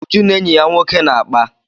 Uju na enyi ya nwoke na-akpa.